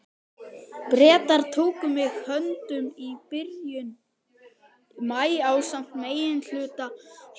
Bretar tóku mig höndum í byrjun maí ásamt meginhluta herdeildarinnar.